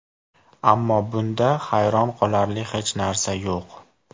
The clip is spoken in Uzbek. Ammo bunda hayron qolarli hech narsa yo‘q.